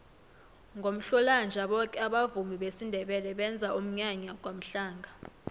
ngomhlolanja boke abavumi besindebele benza umnyanya kwamhlanga